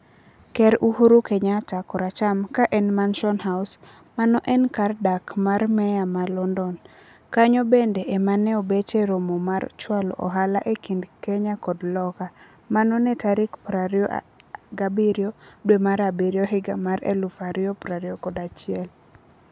Ker Uhuru Kenyatta(koracham) ka en Mansion House. Mano en kar dak mar meya ma London. Kanyo bende ema neobete romo mar chwalo ohala ekind Kenya kod loka. Mano ne tarik prario abirio dwe mar abirio higa mar eluf ario prario kod achiel.